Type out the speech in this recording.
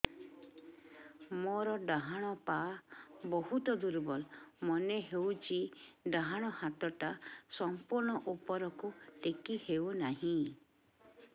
ମୋର ଡାହାଣ ପାଖ ବହୁତ ଦୁର୍ବଳ ମନେ ହେଉଛି ଡାହାଣ ହାତଟା ସମ୍ପୂର୍ଣ ଉପରକୁ ଟେକି ହେଉନାହିଁ